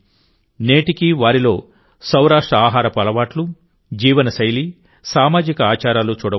నేటికీ వారిలో సౌరాష్ట్రఆహారపు అలవాట్లు జీవనశైలి సామాజిక ఆచారాలు చూడవచ్చు